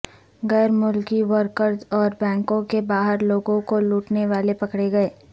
غیر ملکی ورکرز اور بینکوں کے باہر لوگوں کو لوٹنے والے پکڑے گئے